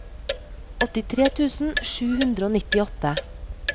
åttitre tusen sju hundre og nittiåtte